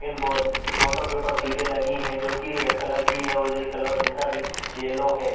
इन वोटो के ऊपर सीटे लगी हुई है जो की रेड कलर की है ये कलर इनका येलो है।